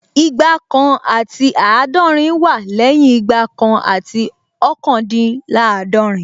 Igba kan àti àádọ́rin wá lẹ́yìn Igba kan àti ọ́kàndínláàdọ̀rín